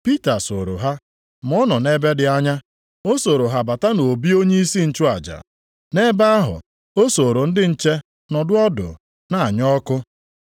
Pita sooro ha, ma ọ nọ nʼebe dị anya. O sooro ha bata nʼobi onyeisi nchụaja. Nʼebe ahụ, o sooro ndị nche nọdụ ọdụ na-anya ọkụ.